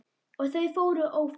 Og þau voru ófá.